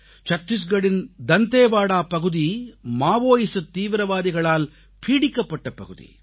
சத்திஸ்கரின் டண்டேவாடா பகுதி மாவோயிஸத் தீவிரவாதிகளால் பீடிக்கப்பட்ட பகுதி